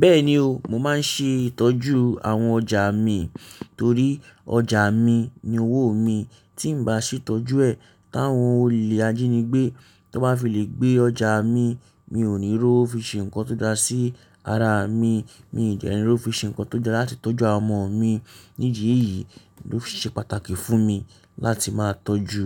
Bẹ́ẹ̀ni o, mo máa ń ṣe ìtọ́jú àwọn ọjà mi torí ọjà mi ni owó mi. Tí n bá sì tọ́jú ẹ̀, táwọn olè ajínigbé tan bá fi lè gbé ọjà mi, mi ò ní rówo fi ṣe nǹkan tó dára sí ara mi, mi ì dẹ́ní rówo fi ṣe nǹkan tó dára láti tọ́jú àwọn ọmọ mi. Ni idi eyìí ló fi ṣe pàtàkì fún mi láti máa tọ́jú